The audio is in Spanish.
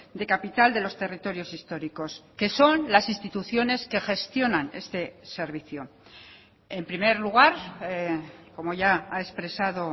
de capital de los territorios históricos que son las instituciones que gestionan este servicio en primer lugar como ya ha expresado